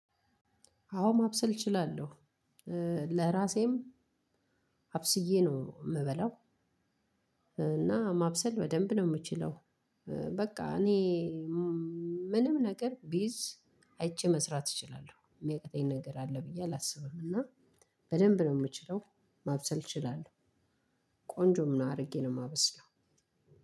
አሁን ማብሰል እችላለሁ ለራሴም አብስዬ ነው የምበላው። እና ማብሰል በደንብ ነው የምችለው። በቃ እኔ ምንም ነገር ቢይዝ አይቼ መስራት እችላለሁ የሚያቃጠኝ ነገር አለ ብዬ አላስብም። እና በደንብ ነው የምችለው ማብሰል እችላለሁ። ቆንጆም ነው አድርጌ ነው የማበስለው።